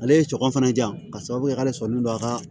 Ale ye sɔngɔn fana diyan k'a sababu kɛ k'ale sɔnnen don a ka